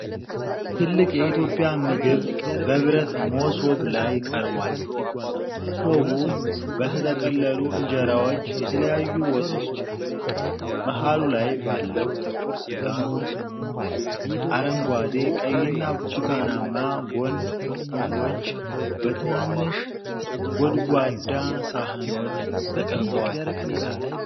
ትልቅ የኢትዮጵያ ምግብ በብረት መሶብ ላይ ቀርቧል። መሶቡ በተጠቀለሉ እንጀራዎች፣ የተለያዩ ወጦች እና መሃሉ ላይ ባለው ጥቁር ስጋ ተሞልቷል። አረንጓዴ፣ ቀይና ብርቱካናማ ጎን ምግቦች በትናንሽ ጎድጓዳ ሳህኖች ተቀምጠዋል።